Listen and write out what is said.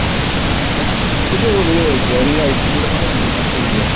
କେବେ ସେଇ ଯଉ ଜରିରେ ice cream ଗୋଟେ ଖାଉନଥିଲୁ ଗୋଟେ ଟଙ୍କିକିଆ